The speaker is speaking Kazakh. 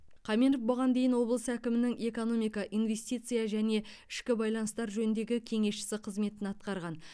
қаменов бұған дейін облыс әкімінің экономика инвестиция және ішкі байланыстар жөніндегі кеңесшісі қызметін атқарған